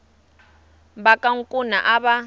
va ka nkuna a va